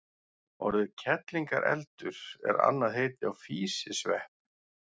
Orðið kerlingareldur er annað heiti á físisvepp.